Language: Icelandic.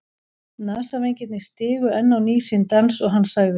Nasavængirnir stigu enn á ný sinn dans og hann sagði